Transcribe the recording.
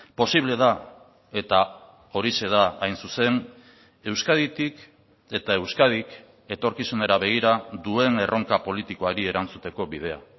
posible da eta horixe da hain zuzen euskaditik eta euskadik etorkizunera begira duen erronka politikoari erantzuteko bidea